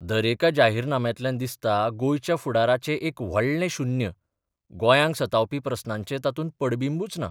दरेका जाहीरनाम्यांतल्यान दिसता गोंयच्या फुडाराचें एक व्हडलें शुन्य गोंयांक सतावपी प्रस्नांचे तातूंत पडबिंबूच ना.